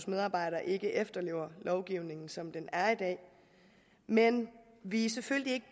medarbejderne ikke efterlever lovgivningen som den er i dag men vi er selvfølgelig